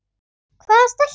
Hvaða stelpu?